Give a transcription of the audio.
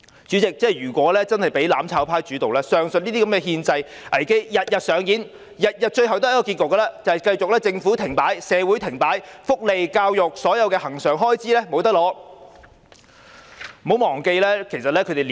主席，如果真的由"攬炒派"主導，上述憲制危機便會天天上演，每天的結局只會是政府停擺、社會停擺，福利、教育及所有恆常開支也無法取得。